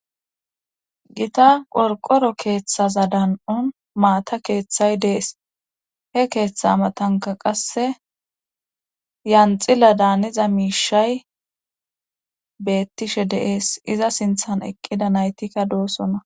Gita qorqoro keeththaza dan7on maata keeththay dees he keeththa amatanka qasse yanxila daaniza miishay beettishe deees iza sinthan eqqida naytikka doossona.